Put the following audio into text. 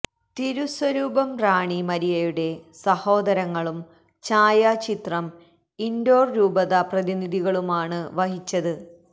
തിരുസ്വരൂപം റാണി മരിയയുടെ സഹോദരങ്ങളും ഛായാചിത്രം ഇന്ഡോര് രൂപത പ്രതിനിധികളുമാണു വഹിച്ചത്